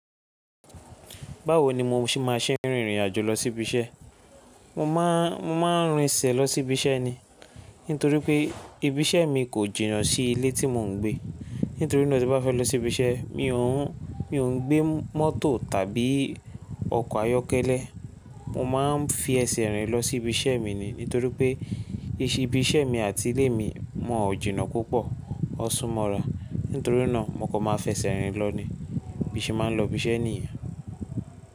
Báwo ni mo ṣe má ṣe ń rìnrìn àjò lọ sí ibi iṣẹ́? Mo máa ń rìn sẹ̀ lọ sí ibi iṣẹ́ ni. Nítorí pé ibi iṣẹ́ mi kò jìnnà sí ilé tí mò ń gbé. Nítorí náà tí bá fẹ́ lọ sí ibi iṣẹ́, mi ò ń gbé mọ́tò tàbí ọkọ̀ ayọ́kẹ́lẹ́. Mo máa ń fi ẹsẹ̀ rìn lọ sí ibi iṣẹ́ mi ni. Nítorí pé ibi iṣẹ́ mi àti ilé mi wọ̀n o jìnà púpọ̀, won súnmọ́ra. Nítorí náà mo kan máa fẹsẹ̀ rìn lọ ni. Bí n ṣe máa ń lọ ibi iṣẹ́ nìyẹn.